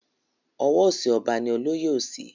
Ọwọ òsì ọba ni olóyè òsì.